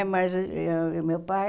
Mas ãh meu pai